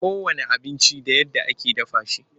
Kowanne abinci da yadda ake dafa shi.